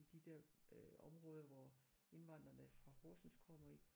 I de der øh områder hvor indvandrene fra Horsens kommer i